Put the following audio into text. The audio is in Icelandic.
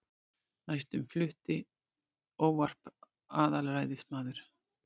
Næstur flutti ávarp aðalræðismaður